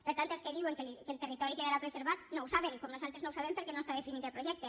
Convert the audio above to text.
per tant els que diuen que el territori quedarà preservat no ho saben com nosaltres no ho sabem perquè no està definit el projecte